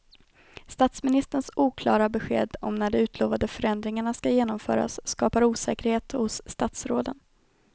Statsministerns oklara besked om när de utlovade förändringarna ska genomföras skapar osäkerhet hos statsråden.